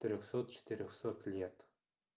трёхсот четырёхсот лет